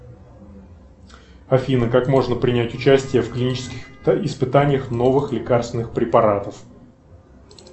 афина как можно принять участие в клинических испытаниях новых лекарственных препаратов